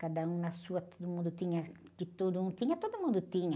Cada um na sua, todo mundo tinha, o que todo mundo tinha, todo mundo tinha.